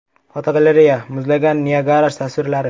Fotogalereya: Muzlagan Niagara tasvirlari.